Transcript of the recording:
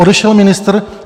Odešel ministr?